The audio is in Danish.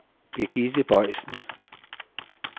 Birgitte Boysen